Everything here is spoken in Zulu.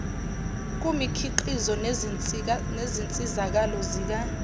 kumikhiqizo nezinsizakalo zika